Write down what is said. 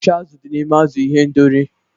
Achịcha azụ̀ dị n'ime azụ̀ ihendori